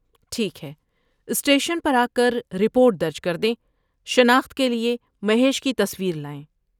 ٹھیک ہے، اسٹیشن پر آکر رپورٹ درج کردیں، شناخت کے لیے مہیش کی تصویر لائیں۔